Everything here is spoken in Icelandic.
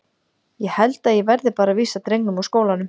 Ég held að ég verði bara að vísa drengnum úr skólanum.